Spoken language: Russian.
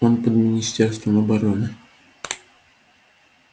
он под министерством обороны